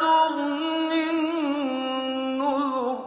تُغْنِ النُّذُرُ